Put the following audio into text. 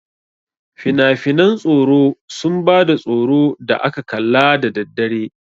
Finafinan tsoro sun ba da tsoro da aka kalla da daddare.